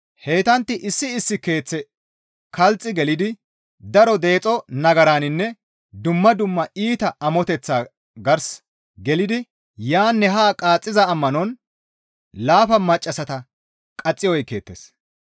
Heytantti issi issi keeththe kalxi gelidi daro deexo nagaraninne dumma dumma iita amoteththa gars gelidi yaanne haa qaaxxiza ammanon laafa maccassata qaxi oykkeettes.